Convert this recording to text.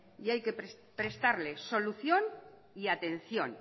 y hay que prestarle solución y atención